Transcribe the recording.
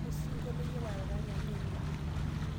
Osinkolio iyiolo ataranya emee nejia?